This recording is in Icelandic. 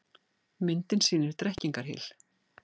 Myndin sýnir Drekkingarhyl.